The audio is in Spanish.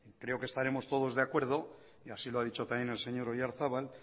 creo que estaremos todos de acuerdo y así lo ha dicho también el señor oyarzabal